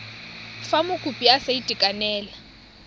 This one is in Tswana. fa mokopi a sa itekanela